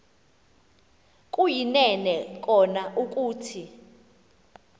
kuyinene kona ukuthi